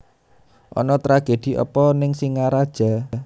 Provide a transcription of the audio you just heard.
Ono tragedi opo ning Singaraja